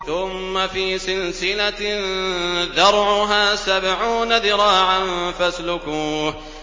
ثُمَّ فِي سِلْسِلَةٍ ذَرْعُهَا سَبْعُونَ ذِرَاعًا فَاسْلُكُوهُ